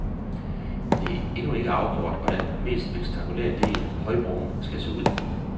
Det er endnu ikke afgjort, hvordan den mest spektakulære del, højbroen, skal se ud.